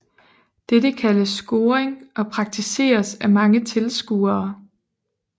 Dette kaldes scoring og praktiseres af mange tilskuere